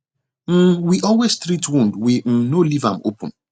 um we always treat wound we um no leave am open